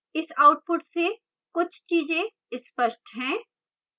इस output से कुछ चीजें स्पष्ट हैं